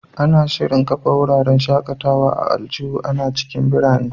Ana shirin kafa wuraren shaƙatawa na aljihu a cikin birane.